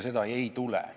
Seda ei tule.